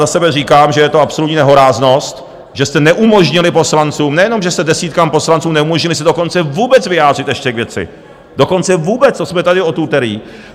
Za sebe říkám, že je to absolutní nehoráznost, že jste neumožnili poslancům... nejenom že jste desítkám poslanců neumožnili se dokonce vůbec vyjádřit ještě k věci, dokonce vůbec, co jsme tady od úterý.